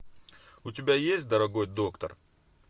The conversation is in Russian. у тебя есть дорогой доктор